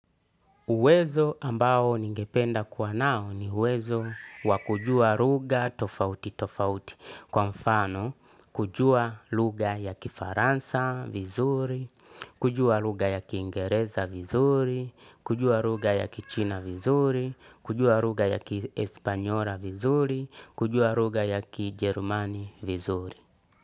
Uwezo ambao ningependa kuwa nao ni uwezo wa kujua ruga tofauti tofauti. Kwa mfano, kujua lugha ya kifaransa vizuri, kujua lugha ya kiingereza vizuri, kujua lugha ya kichina vizuri, kujua lugha ya kiespanyola vizuri, kujua ruga ya kijerumany vizuri.